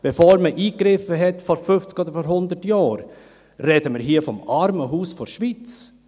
Bevor man vor 50 oder 100 Jahren eingriff, sprach vom «Armenhaus der Schweiz».